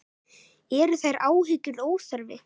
Eru þær áhyggjur óþarfi?